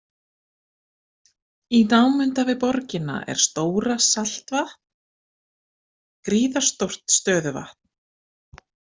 Í námunda við borgina er Stóra-Saltvatn, gríðarstórt stöðuvatn.